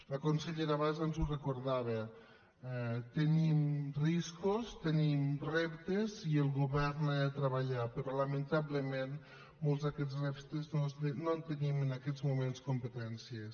la consellera abans ens ho recordava tenim riscos tenim reptes i el govern ha de treballar però lamentablement de molts d’aquests reptes no en tenim en aquests moments competències